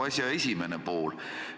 See on nagu asja esimene pool.